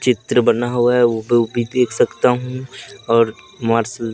चित्र बना हुआ है वो भी देख सकता हूं और मा--